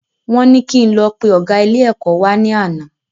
Wọ́n ní kí n lọ pe ọgá ilé ẹ̀kọ́ wa ní àná